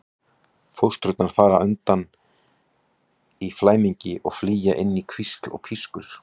Fóstrurnar fara undan í flæmingi og flýja inn í hvísl og pískur.